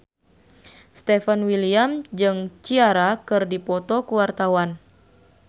Stefan William jeung Ciara keur dipoto ku wartawan